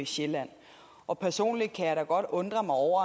sjælland og personligt kan jeg da godt undre mig over